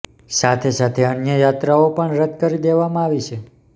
સાથે સાથે અન્ય યાત્રાઓ પણ રદ કરી દેવામાં આવી છે